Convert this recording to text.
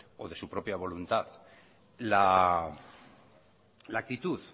o de su propia voluntad la actitud